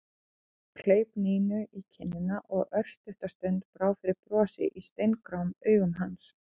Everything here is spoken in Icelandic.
Hann kleip Nínu í kinnina og örstutta stund brá fyrir brosi í steingráum augum hans.